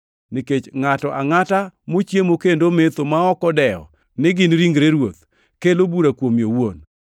Nikech ngʼato angʼata mochiemo kendo ometho, ma ok odewo ni gin ringre Ruoth, kelo bura kuome owuon.